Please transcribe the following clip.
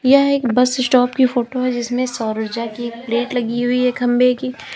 यह एक bus stop की फोटो है जिसमें सौर ऊर्जा की प्लेट लगी हुई है खंभे की।